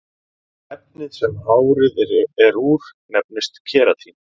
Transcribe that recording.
efnið sem hárið er úr nefnist keratín